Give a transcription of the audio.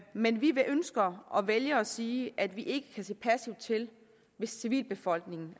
men vi ønsker og vælger at sige at vi ikke kan se passivt til hvis civilbefolkningen